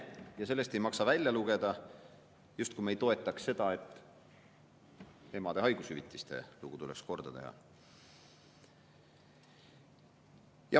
Aga sellest ei maksa välja lugeda, justkui me ei toetaks seda, et emade haigushüvitiste lugu tuleks korda teha.